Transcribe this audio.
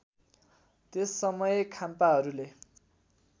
त्यस समय खाम्पाहरूले